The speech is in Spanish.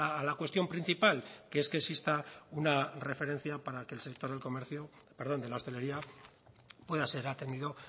a la cuestión principal que es que exista una referencia para que el sector de la hostelería pueda ser atendido